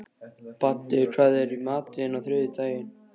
Baddi, hvað er í matinn á þriðjudaginn?